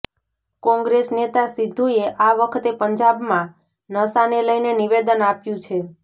કોંગ્રેસ નેતા સિદ્ધુએ આ વખતે પંજાબમાં નશાને લઇને નિવેદન આપ્યું છે